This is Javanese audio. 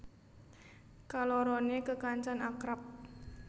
Kaloroné kekancan akrab